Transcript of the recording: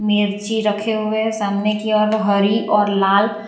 मिर्ची रखे हुए है सामने की ओर हरी और लाल --